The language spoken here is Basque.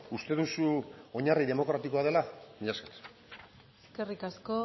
uste duzu oinarri demokratikoa dela mila esker eskerrik asko